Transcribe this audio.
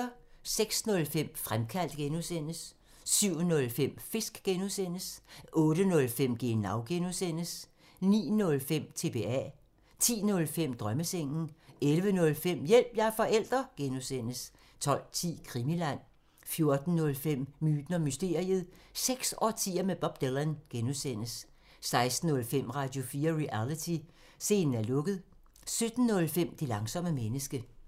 06:05: Fremkaldt (G) 07:05: Fisk (G) 08:05: Genau (G) 09:05: TBA 10:05: Drømmesengen 11:05: Hjælp – jeg er forælder! (G) 12:10: Krimiland 14:05: Myten og mysteriet – seks årtier med Bob Dylan (G) 16:05: Radio4 Reality: Scenen er lukket 17:05: Det langsomme menneske